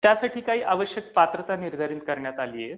त्यासाठी काही आवश्यक पात्रता निर्धारित करण्यात आली आहे